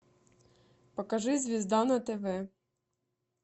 покажи звезда на тв